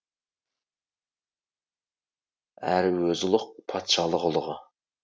әрі өзі ұлық патшалық ұлығы